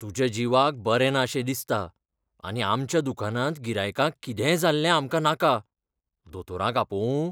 तुज्या जिवाक बरें ना शें दिसता आनी आमच्या दुकानांत गिरायकांक कितेंय जाल्लें आमकां नाका. दोतोराक आपोवूं?